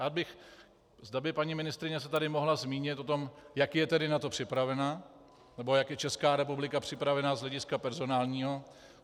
Rád bych, zda by paní ministryně se tady mohla zmínit o tom, jak je tedy na to připravena, nebo jak je Česká republika připravena z hlediska personálního.